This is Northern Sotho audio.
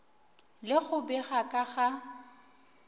le go bega ka ga